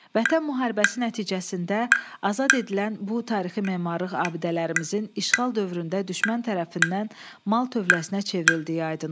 Vətən müharibəsi nəticəsində azad edilən bu tarixi memarlıq abidələrimizin işğal dövründə düşmən tərəfindən mal tövləsinə çevrildiyi aydın olub.